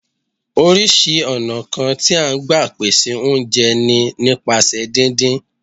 Oríṣìí ọ̀nà kan tí à ń gbà pèsè oúnjẹ ni nípasẹ̀ díndín